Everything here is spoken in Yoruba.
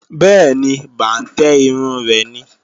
Bẹ́ẹ̀ni, bàǹtẹ́ irun rẹ̀ ni